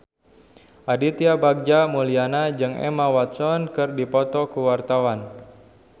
Aditya Bagja Mulyana jeung Emma Watson keur dipoto ku wartawan